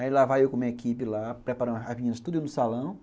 Aí lá vai eu com a minha equipe lá, preparando as meninas tudinho no salão.